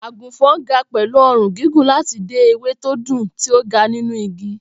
Àgùnfọ̀n ga pẹ̀lú ọrùn gígùn láti dé ewé tó dùn tí ó ga nínú igi.